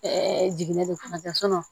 jiginnen do fana ka